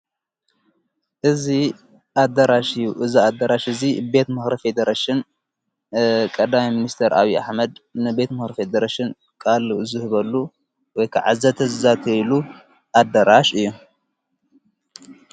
እዝ ኣደራሽ እዩ እዛ ኣደራሽ እዙይ ቤት መኽሪፊ ይደረሽን ቀዳይ ምስር ኣዊ ኣኅመድ ንቤት ምኽርፈደረሽን ቓል ዝህበሉ ወይከ ዓዘተ ዛተኢሉ ኣደራሽ እዩ።